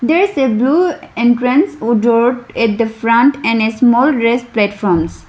There is a blue entrance wood door at the front and a small rest platforms.